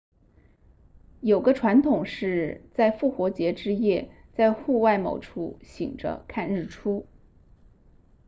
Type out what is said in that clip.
有个传统是在复活节之夜在户外某处醒着看日出